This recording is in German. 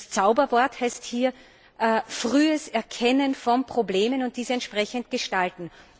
Das Zauberwort heißt hier frühes Erkennen von Problemen und diese entsprechend gestalten.